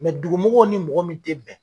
Mɛ dugumɔgɔw ni mɔgɔ min ten bɛn.